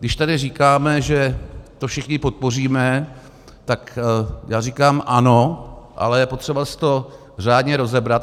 Když tady říkáme, že to všichni podpoříme, tak já říkám ano, ale je potřeba si to řádně rozebrat.